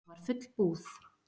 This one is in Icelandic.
Það var full búð.